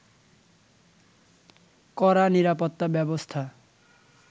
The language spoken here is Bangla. কড়া নিরাপত্তা ব্যবস্থা